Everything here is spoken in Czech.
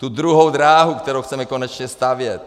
Tu druhou dráhu, kterou chceme konečně stavět.